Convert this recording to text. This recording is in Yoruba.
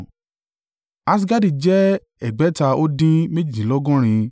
Asgadi jẹ́ ẹgbẹ̀ta ó dín méjìdínlọ́gọ́rin (2,322)